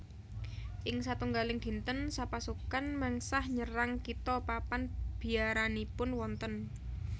Ing satunggaling dinten sapasukan mengsah nyerang kitha papan biaranipun wonten